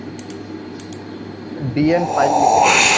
DN five লিখে নিন